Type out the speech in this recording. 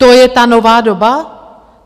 To je ta nová doba?